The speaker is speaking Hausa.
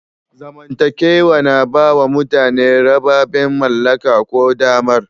Zamantakewa na ba wa mutane rababen mallaka ko damar.